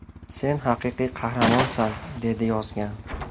Sen haqiqiy qahramonsan!” – deb yozgan.